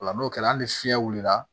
Ola n'o kɛra hali fiɲɛ wulila